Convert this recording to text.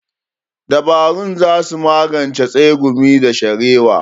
Dabarun za su magance tsegumi da sharewa.